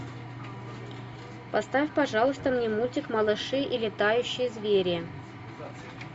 поставь пожалуйста мне мультик малыши и летающие звери